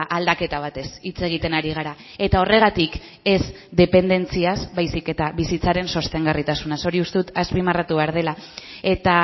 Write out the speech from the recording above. aldaketa batez hitz egiten ari gara eta horregatik ez dependentziaz baizik eta bizitzaren sostengarritasunaz hori uste dut azpimarratu behar dela eta